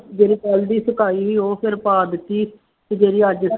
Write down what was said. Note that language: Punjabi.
ਜਿਹੜੀ ਕੱਲ੍ਹ ਦੀ ਸੁਕਾਈ ਸੀ ਉਹ ਫਿਰ ਪਾ ਦਿੱਤੀ ਤੇ ਜਿਹੜੀ ਅੱਜ